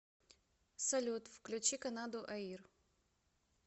салют включи канаду аир